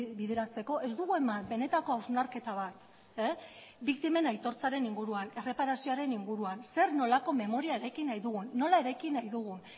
bideratzeko ez dugu eman benetako hausnarketa bat biktimen aitortzaren inguruan erreparazioaren inguruan zer nolako memoria eraiki nahi dugun nola eraiki nahi dugun